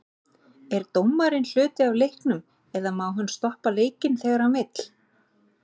Er dómarinn hluti af leiknum eða má hann stoppa leikinn þegar hann vill?